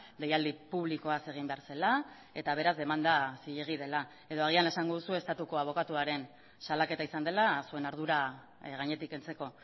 deialdi publikoaz egin behar zela eta beraz demanda zilegi dela edo agian esango duzue estatuko abokatuaren salaketa izan dela zuen ardura gainetik kentzeko